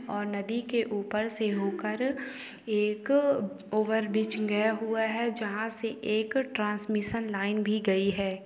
और नदी के ऊपर से होकर एक ओवर ब्रिज गया हुआ है जहाँ से एक ट्रांसमिनशन लाइन भी गयी है।